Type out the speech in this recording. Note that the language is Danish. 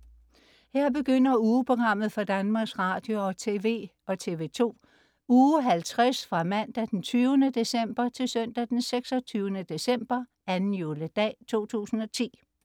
Her begynder ugeprogrammet for Danmarks Radio- og TV og TV2 Uge 50 Fra Mandag den 20. december 2010 Til Søndag den 26. december - 2. juledag 2010